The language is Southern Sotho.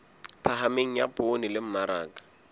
phahameng ya poone le mmaraka